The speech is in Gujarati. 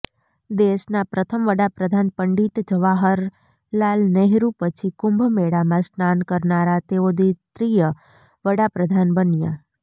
દેશના પ્રથમ વડાપ્રધાન પંડિત જવાહરલાલ નહેરુ પછી કુંભમેળામાં સ્નાન કરનારા તેઓ દ્વિતિય વડાપ્રધાન બન્યા